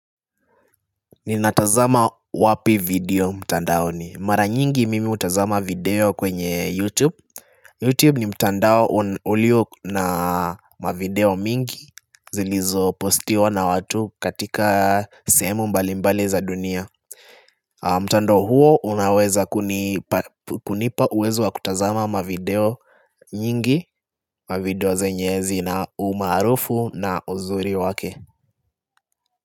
Ninatazama wapi video mtandaoni mara nyingi mimi hutazama video kwenye youtube Youtube ni mtandao ulio na mavideo mingi zilizopostiwa na watu katika sehemu mbalimbali za dunia mtandao huo unaweza kunipa kunipa uwezo wa kutazama mavideo nyingi mavideo zenye zina umaarufu na uzuri wake.